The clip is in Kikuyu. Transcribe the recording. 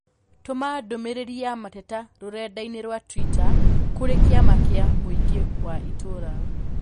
Tũma ndũmīrīri ya mateta rũrenda-inī rũa tũita kũrĩ kĩama kĩa mũingĩ wa itũũra